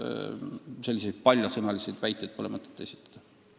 Selliseid paljasõnalisi väiteid pole mõtet esitada.